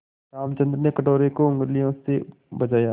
रामचंद्र ने कटोरे को उँगलियों से बजाया